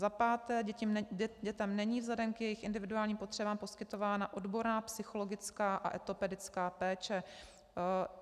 Za páté, dětem není vzhledem k jejich individuálním potřebám poskytována odborná psychologická a etopedická péče.